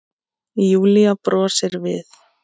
Júlía brosir við.